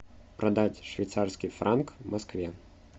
продать швейцарский франк в москве